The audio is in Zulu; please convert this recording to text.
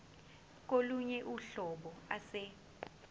kolunye uhlobo ase